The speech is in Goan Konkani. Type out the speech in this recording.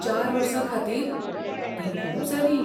चार वर्सां खातीर, तीं खूब जालीं.